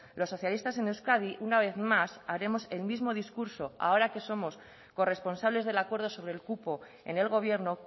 los socialistas en euskadi una vez más haremos el mismo discurso ahora que somos corresponsables del acuerdo sobre el cupo en el gobierno